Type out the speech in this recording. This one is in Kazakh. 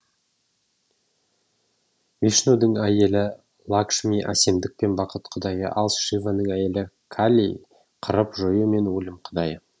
вишнудің әйелі лакшми әсемдік пен бақыт құдайы ал шиваның әйелі кали қырып жою мен өлім құдайы